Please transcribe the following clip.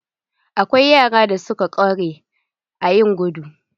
Akwai yaran da suka ƙware a yin gudu.